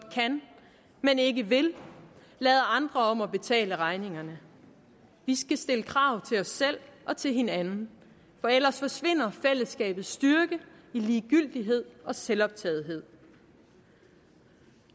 kan men ikke vil lader andre om at betale regningerne vi skal stille krav til os selv og til hinanden for ellers forsvinder fællesskabets styrke i ligegyldighed og selvoptagethed